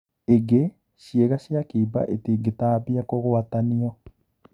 Ingi, ciĩga cia kĩimba itingĩtambia kũgwatanio."